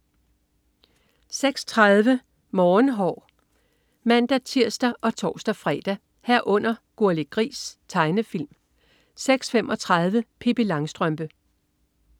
06.30 Morgenhår (man-tirs og tors-fre) 06.30 Gurli Gris. Tegnefilm (man-tirs og tors-fre) 06.35 Pippi Langstrømpe (man-tirs og tors-fre)